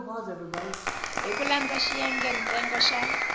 hi ku landza xiyengentsongo xa